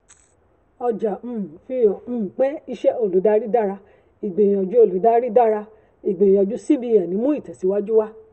ọjà um fihàn um pé ìṣe olùdarí dára igbìyànjú olùdarí dára igbìyànjú cbn mú ìtẹ̀síwájú wá.